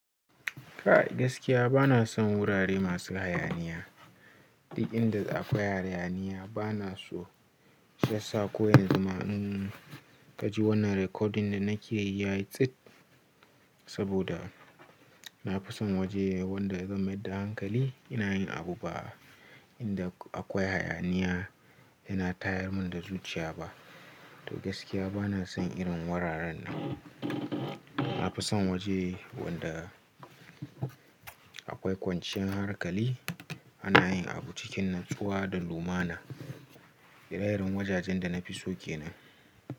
Ka gaskiya bana son wurare masu hayaniya. Inda akwai hayaniya bana so shiyasa. Koyan zuma in ka ji wannan recording da na ke yi yayi tsit saboda na fi son waje wanda ya zama da hankali ina yin abu ba inda akwai hayaniya ina tayar mun da zuciya ba. To gaskiya bana son irin wuraren nan. Na fi son waje wanda akwai kwanciyar hankali ana yin abu cikin natsuwa da lumana. Hirayirin wajajen da na fi so ke nan.